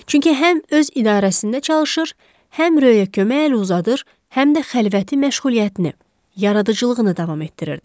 Çünki həm öz idarəsində çalışır, həm Röya kömək el uzadır, həm də xəlvəti məşğuliyyətini, yaradıcılığını davam etdirirdi.